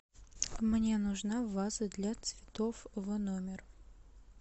мне нужна ваза для цветов в номер